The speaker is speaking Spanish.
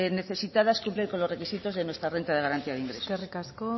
necesitadas cumplen con los requisitos de nuestra renta de garantía de ingresos eskerrik asko